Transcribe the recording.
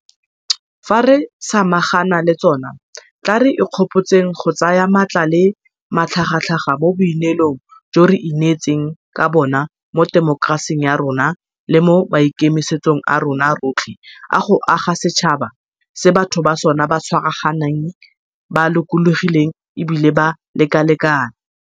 Fa re samagana le tsona, tla re ikgopotseng go tsaya maatla le matlhagatlhaga mo boineelong jo re ineetseng ka bona mo temokerasing ya rona le mo maikemisetsong a rona rotlhe a go aga setšhaba se batho ba sona ba tshwaraganeng, ba lokologileng e bile ba lekalekana.